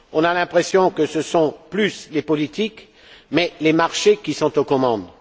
On a l'impression que ce ne sont plus les politiques mais les marchés qui sont aux commandes.